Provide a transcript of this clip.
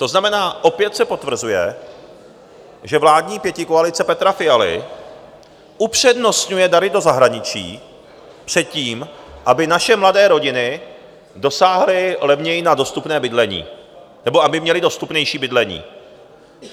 To znamená, opět se potvrzuje, že vládní pětikoalice Petra Fialy upřednostňuje dary do zahraničí před tím, aby naše mladé rodiny dosáhly levněji na dostupné bydlení, nebo aby měly dostupnější bydlení.